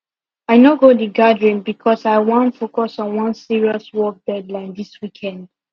i no go the gathering because i wan focus on one serious work deadline this weekend